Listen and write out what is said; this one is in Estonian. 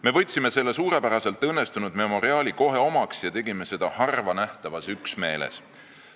Me võtsime selle suurepäraselt õnnestunud memoriaali kohe omaks ja tegime seda harva nähtavas üksmeeles.